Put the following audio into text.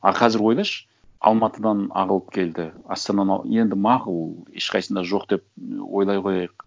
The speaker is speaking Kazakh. а қазір ойлашы алматыдан ағылып келді астананы енді мақұл ешқайсысында жоқ деп ойлай қояйық